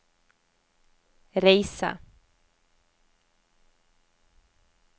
reise